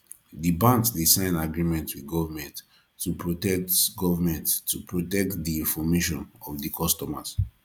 di banks dey sign agreement with government to protect government to protect di information of di customers